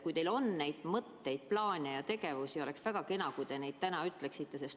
Kui teil on sellekohaseid mõtteid, plaane ja tegevusi, siis oleks väga kena, kui te neid täna valgustaksite.